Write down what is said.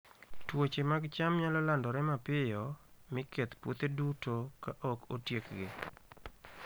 Tuoche mag cham nyalo landore mapiyo, mi keth puothe duto ka ok otiekgi.